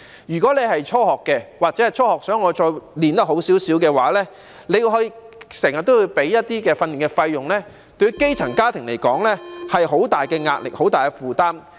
如果是初學但想接受較好的訓練，那便要支付訓練費用，這對於基層家庭而言是很大的壓力、很大的負擔。